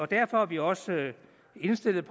derfor er vi også indstillet